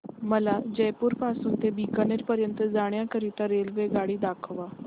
मला जयपुर पासून ते बीकानेर पर्यंत जाण्या करीता रेल्वेगाडी दाखवा